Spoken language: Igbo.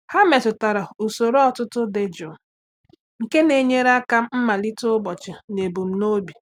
Há mèpụ̀tárà usoro ụ́tụ́tụ́ dị jụụ nke nà-ènyéré áká màlíté ụ́bọ̀chị̀ n’ebumnobi.